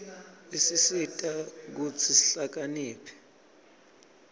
isisita kutsi sihlakaniphe